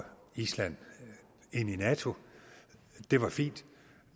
island ind i nato det var fint